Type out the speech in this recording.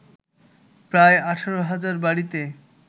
প্রায় ১৮ হাজার বাড়িতে